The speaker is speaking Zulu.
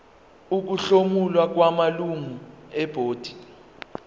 ukuhlomula kwamalungu ebhodi